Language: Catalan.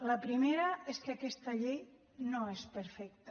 la primera és que aquesta llei no és perfecta